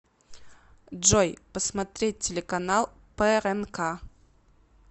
джой посмотреть телеканал прнк